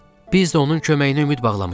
Biz də onun köməyinə ümid bağlamışıq.